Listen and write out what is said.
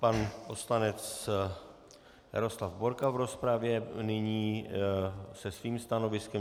Pan poslanec Jaroslav Borka v rozpravě nyní se svým stanoviskem.